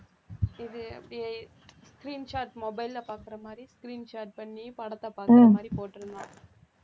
இது அப்படியே screen shot mobile ல பாக்கற மாதிரி screen shot பண்ணி படத்தை பாக்கற மாதிரி போட்டிருந்தான்